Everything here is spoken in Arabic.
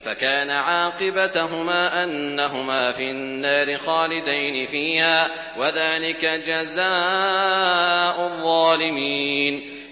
فَكَانَ عَاقِبَتَهُمَا أَنَّهُمَا فِي النَّارِ خَالِدَيْنِ فِيهَا ۚ وَذَٰلِكَ جَزَاءُ الظَّالِمِينَ